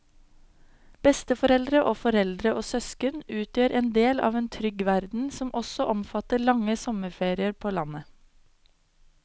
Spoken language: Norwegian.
Besteforeldre og foreldre og søsken utgjør en del av en trygg verden som også omfatter lange sommerferier på landet.